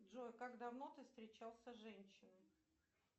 джой как давно ты встречался с женщиной